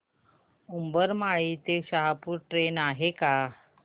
उंबरमाळी ते शहापूर ट्रेन आहे का